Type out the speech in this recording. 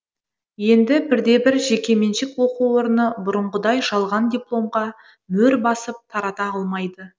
енді бір де бір жекеменшік оқу орны бұрынғыдай жалған дипломға мөр басып тарата алмайды